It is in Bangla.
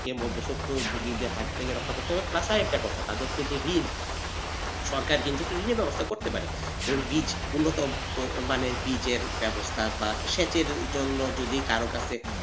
মধ্যসত্ত্ব ভোগীদের হাত থেকে রক্ষা করতে হবে আরেকটা কথা তাদের যে ঋণ সরকার কিন্তু নিজে ব্যবস্থা করতে পারে এবং বীজ অন্যতম মানের বীজের ব্যবস্থা বা সেচের জন্য যদি কারো কাছ থেকে,